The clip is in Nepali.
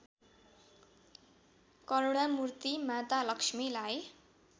करुणामूर्ति माता लक्ष्मीलाई